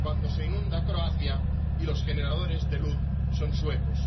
cuando se inunda Croacia y los generadores de luz, son suecos.